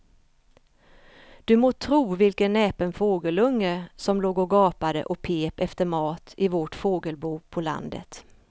Du må tro vilken näpen fågelunge som låg och gapade och pep efter mat i vårt fågelbo på landet.